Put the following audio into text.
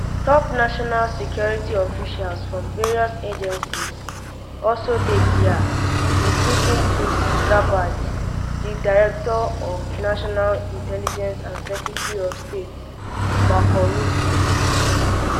top um national security officials from various agencies also dey um dia including tulsi gabbard di director of national intelligence and secretary of state marco rubio